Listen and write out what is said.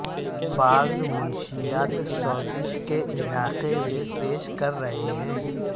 بعض منشیات سوزش کے علاقے میں پیش کر رہے ہیں